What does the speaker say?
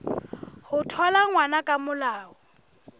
ho thola ngwana ka molao